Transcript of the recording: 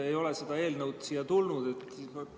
Ei ole seda eelnõu siia tulnud.